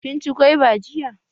Kin ci gwaiba jiya?